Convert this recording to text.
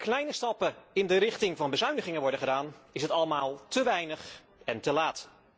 Hoewel er een paar kleine stappen in de richting van bezuinigingen worden gedaan, is het allemaal te weinig en te laat.